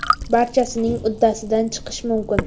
Barchasining uddasidan chiqish mumkin.